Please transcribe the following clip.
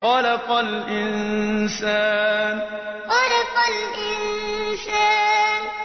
خَلَقَ الْإِنسَانَ خَلَقَ الْإِنسَانَ